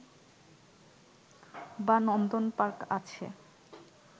বা নন্দন পার্ক আছে